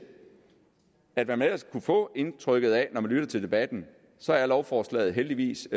at hvad man ellers kunne få indtrykket af når man lytter til debatten så er lovforslaget heldigvis